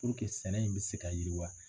sɛnɛ in bɛ se ka yiriwa.